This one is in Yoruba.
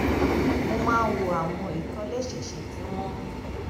mo máa ń wo àwọn ìtòlésẹẹsẹ tí wón